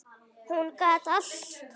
Hún gat allt.